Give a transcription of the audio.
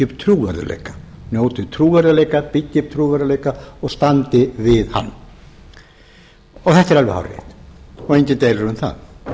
upp trúverðugleika njóti trúverðugleika byggi upp trúverðugleika og standi við hann þetta er alveg hárrétt og enginn deilir um það